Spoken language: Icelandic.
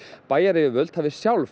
bæjaryfirvöld hafi sjálf